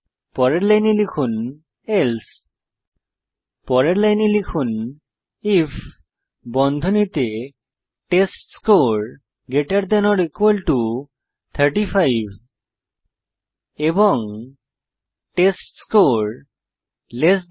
পরের লাইনে লিখুন এলসে পরের লাইনে লিখুন আইএফ বন্ধনীতে টেস্টস্কোর 35 এবং টেস্টস্কোর 60